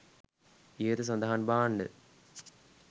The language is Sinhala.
ඉහත සඳහන් භාණ්ඩ